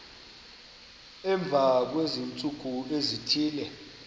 emva kweentsuku ezithile